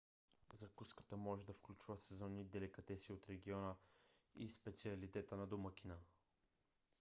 закуската може да включва сезонни деликатеси от региона или специалитета на домакина